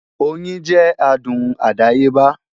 Oyin jẹ́ adùn àdáyébá